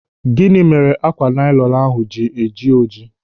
Gịnị mere ákwà nailọnu ahụ ji jie ọjị?